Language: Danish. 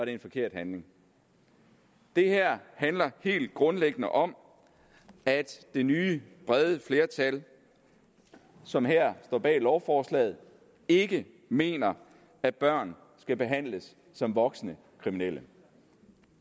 en forkert handling det her handler helt grundlæggende om at det nye brede flertal som her står bag lovforslaget ikke mener at børn skal behandles som voksne kriminelle